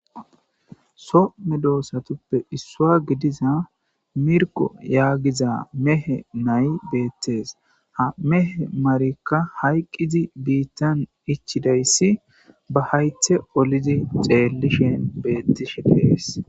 so medoossatuppe issua gidiza mirko yaagiza mehe nay beettes ha mehe marekka hayqqizi biittan ichidayssi ba haythe olizi xeellishen beettishe de'es